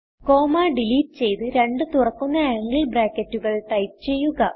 comma delete ചെയ്ത് രണ്ട് തുറക്കുന്ന ആംഗിൾ ബ്രാക്കറ്റുകൾ ടൈപ്പ് ചെയ്യുക